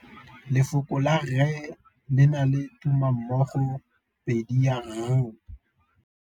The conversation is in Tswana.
Lefoko la rre le na le tumammogôpedi ya, r.